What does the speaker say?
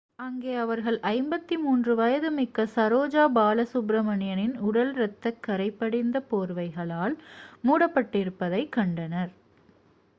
அங்கே அவர்கள் 53 வயதுமிக்க சரோஜா பாலசுப்பிரமணியனின் உடல் இரத்தக் கரை படிந்த போர்வைகளால் மூடபட்டிருப்பதை கண்டனர்